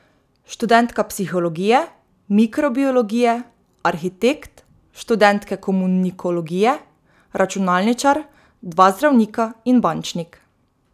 Študentka psihologije, mikrobiologije, arhitekt, študentke komunikologije, računalničar, dva zdravnika in bančnik.